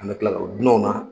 An bɛ tila o dunan w na